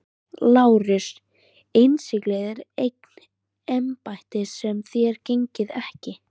LÁRUS: Innsiglið er eign embættis sem þér gegnið ekki.